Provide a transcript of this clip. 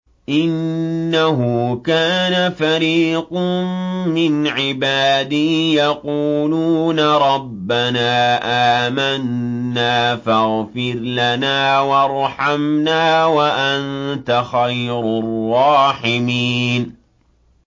إِنَّهُ كَانَ فَرِيقٌ مِّنْ عِبَادِي يَقُولُونَ رَبَّنَا آمَنَّا فَاغْفِرْ لَنَا وَارْحَمْنَا وَأَنتَ خَيْرُ الرَّاحِمِينَ